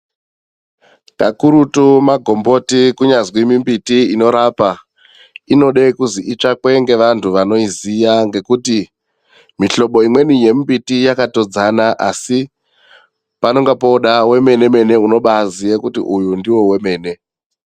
Kakurutu magomboti kunyazwi mimbiti inorapa inode kuzwi itsvakwe ngevantu anoiziya ngekuti mihlobo imweni yemimbiti yakatodzana asi panonga pooda wemene mene unobaaziya kuti uyu ndiwo wemene.